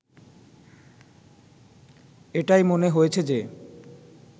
এটাই মনে হয়েছে যে